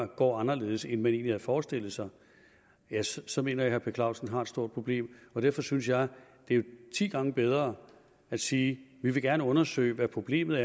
går anderledes end man egentlig havde forestillet sig så mener jeg at herre per clausen har et stort problem derfor synes jeg det er ti gange bedre at sige vi vil gerne undersøge hvad problemet